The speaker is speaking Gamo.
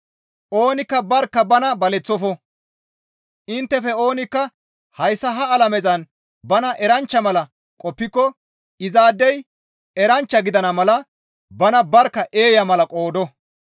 Oonikka barkka bana baleththofo; inttefe oonikka hayssa ha alamezan bana eranchcha mala qoppiko izaadey eranchcha gidana mala bana barkka eeya mala qoodo.